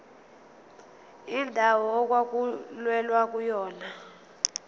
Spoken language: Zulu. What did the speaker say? indawo okwakulwelwa kuyona